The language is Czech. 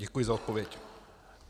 Děkuji za odpověď.